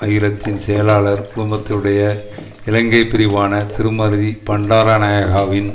அகிலத்தின் செயலாளர் குழுமத்துடைய இலங்கை பிரிவான திருமதி பண்டாரநாயகாவின்